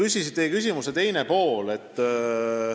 Nüüd teie küsimuse teisest poolest.